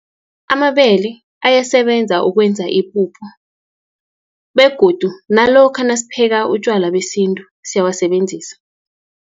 Amabele abayasebenza ukwenza ipuphu, begodu nalokha nasipheka utjwala besintu, siyawasebenzisa.